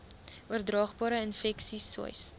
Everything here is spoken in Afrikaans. oordraagbare infeksies sois